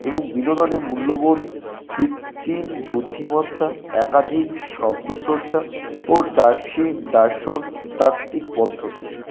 এবং বিনোদনের মূল্যবোধ কৃত্রিম বুদ্ধিমত্তা একাধিক শব্দ স্রষ্টা ও দার্শিন দার্শন তাত্ত্বিক পদ্ধতি।